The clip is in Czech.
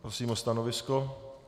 Prosím o stanovisko.